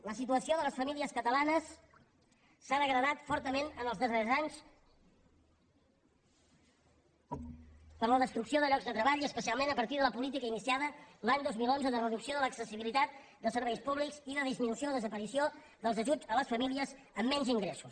la situació de les famílies catalanes s’ha degradat fortament en els darrers anys per la destrucció de llocs de treball i especialment a partir de la política iniciada l’any dos mil onze de reducció de l’accessibilitat de serveis públics i de disminució o desaparició dels ajuts a les famílies amb menys ingressos